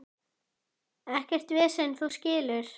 Ekkert vesen, þú skilur.